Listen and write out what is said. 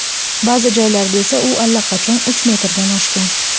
Ba’zi joylarda esa u allaqachon uch metrdan oshgan.